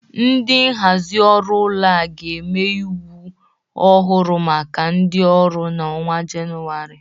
Ndị nhazị ụlọ ọrụ a ga-eme iwu ọhụrụ maka ndị ọrụ n'ọnwa Jenuwarị